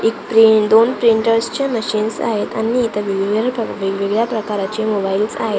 एक प्रिं दोन प्रिंटर्स च्या मशीन्स आहेत आणि इथं वेगवेगळ्या प्र वेगवेगळ्या प्रकाराचे मोबाईल्स आहेत.